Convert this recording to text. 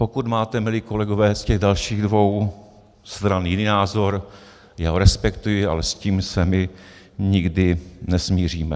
Pokud máte, milí kolegové z těch dalších dvou stran, jiný názor, já ho respektuji, ale s tím se my nikdy nesmíříme.